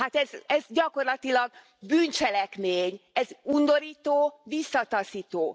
Hát ez gyakorlatilag bűncselekmény, ez undorító, visszataszító.